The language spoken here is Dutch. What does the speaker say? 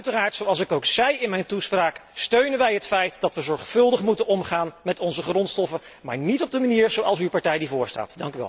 Uiteraard, zoals ik ook zei in mijn toespraak, steunen wij het feit dat we zorgvuldig moeten omgaan met onze grondstoffen, maar niet op de manier zoals uw partij die voorstaat.